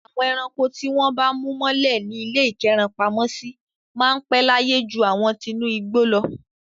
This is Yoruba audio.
Àwọn ẹranko tí wọ́n bá mú mọ́lẹ̀ ní ilé ìkẹ́rankopamọ́sí máa ń pẹ́ láyé ju àwọn tinú igbó lọ.